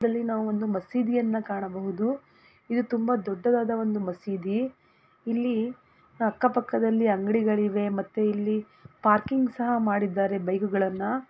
ನಾವು ಮಸೀದಿಯನ್ನು ಕಾಣಬಹುದು ಇದು ತುಂಬಾ ದೊಡ್ಡವಾದ ಒಂದು ಮಸೀದಿ ಇಲ್ಲಿ ಅಕ್ಕ ಪಕ್ಕದಲ್ಲಿ ಅಂಗಡಿಗಳಿವೆ ಮತ್ತೆ ಇಲ್ಲಿ ಪಾರ್ಕಿಂಗ್ ಸಹ ಮಾಡಿದ್ದಾರೆ ಬೈಕುಗಳನ್ನ --